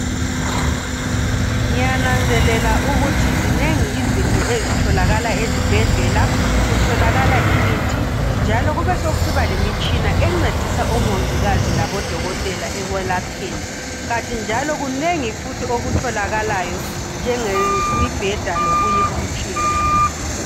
Ngiyananzelela ukuthi zinengi izinto ezitholakala ezibhedlela. Kutholakala imithi njalo kubesokusiba lemitshina encedisa omongikazi labodokotela ekwelapheni kanti njalo kunengi futhi okutholakalayo njengemibheda lokunye okutshiyeneyo.